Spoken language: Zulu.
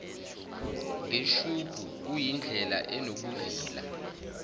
ngeshubhu kuyindlela enobuvila